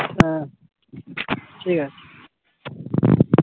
হ্যাঁ ঠিক আছে